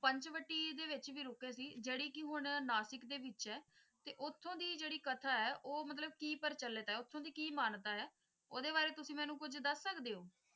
ਪੰਚਵਟੀ ਦੇ ਵਿਚ ਵੀ ਰੁਕੇ ਸੀ ਜੇੜੇ ਕਿ ਹੁਣ ਨਾਸਿਕ ਦੇ ਵਿਚ ਹੈ ਤੇ ਉਥੋਂ ਦਿ ਜੇੜੀ ਕਥਾ ਹੈ ਉਹ ਮਿਲਾਬ ਕਿ ਪ੍ਰਚਲਿਤ ਹੈ ਓਹਦੀ ਕਿ ਮਾਨ੍ਯਤਾ ਹੈ ਓਹਦੇ ਬਾਰੇ ਤੁਸੀਂ ਮੈਨੂੰ ਕੁਛ ਦੱਸ ਸਕਦੇ ਹੋ?